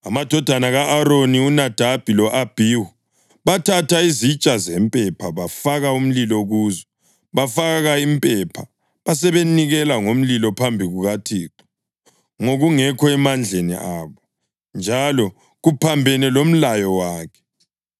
Amadodana ka-Aroni uNadabi lo-Abhihu bathatha izitsha zempepha, bafaka umlilo kuzo, bafaka impepha; basebenikela ngomlilo phambi kukaThixo ngokungekho emandleni abo, njalo kuphambene lomlayo wakhe.